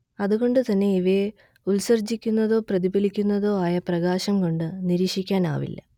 അതുകൊണ്ടുതന്നെ ഇവയെ ഉത്സർജ്ജിക്കുന്നതോ പ്രതിഫലിക്കുന്നതോ ആയ പ്രകാശം കൊണ്ട് നിരീക്ഷിക്കാനാവില്ല